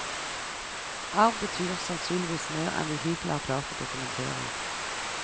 Arv betyr sannsynligvis mer enn vi hittil har klart å dokumentere.